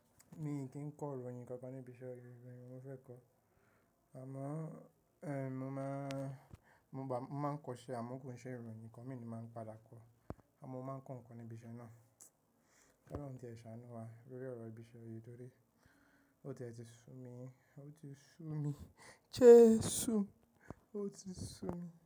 Mi kì í kọ́ ìròyìn kankan níbi iṣẹ́ ìròyìn wo ni mo fẹ́ kọ́. Àmọ́, ẹh, mo máa, mo máa kọ́ iṣẹ́ amọ̀ ko n ṣẹ́ ìròyìn nìkan mi ni màá padà kọ́. Àmọ́ mo máa ń kọ nǹkan ní ibi iṣẹ́ náà. Kolọ́run ti ṣàánú wa lórí ọ̀rọ̀ ibi iṣẹ́ yìí torí ó tiẹ̀ ti sú mi, ó ti sú mi, jẹ́sù, ó ti sú mi.